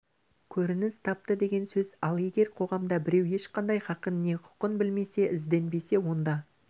көрініс тапты деген сөз ал егер қоғамда біреу ешқандай хақын не хұқын білмесе ізденбесе онда